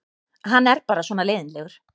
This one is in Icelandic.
Hann er bara svona leiðinlegur.